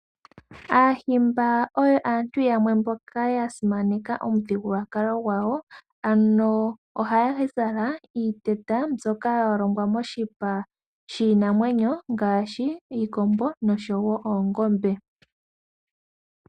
Aahimba oyo aantu yamwe mboka ya simaneka omuthigulwakalo gwawo. Ano ohaya zala iiteta, mbyoka yalongwa moshipa shiinamwenyo, ngashi iikombo, noshowo oongombe.